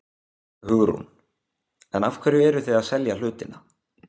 Hugrún: En af hverju eruð þið að selja hlutina?